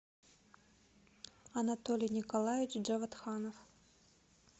анатолий николаевич джаватханов